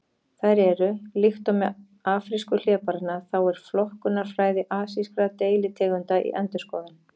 Þær eru: Líkt og með afrísku hlébarðanna þá er flokkunarfræði asískra deilitegunda í endurskoðun.